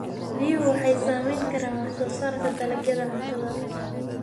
Biyuhu waxay saamayn karaan wax soo saarka dalagyada cuntada.